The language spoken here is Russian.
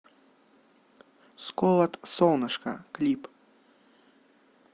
сколот солнышко клип